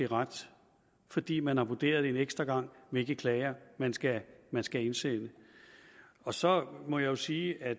ret fordi man har vurderet en ekstra gang hvilke klager man skal man skal indsende og så må jeg sige at